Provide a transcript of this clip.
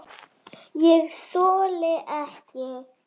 ÉG ÞOLI EKKI